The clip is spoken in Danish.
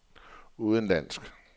udenlandsk